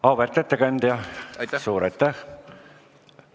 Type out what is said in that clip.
Auväärt ettekandja, suur aitäh!